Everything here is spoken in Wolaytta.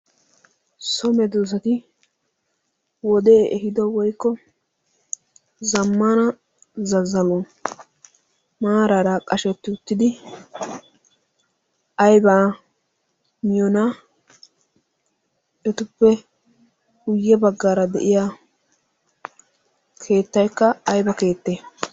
So medoossati wodee ehiido woykko zammaana zazzaluwan maaraara qashettidi aybaa miyonaa? Etappe guyye baggaara de"iya keettaykka ayba keettee?